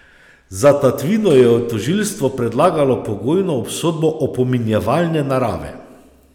Za tatvino je tožilstvo predlagalo pogojno obsodbo opominjevalne narave.